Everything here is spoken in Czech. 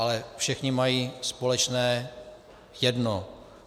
Ale všichni mají společné jedno.